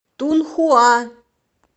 тунхуа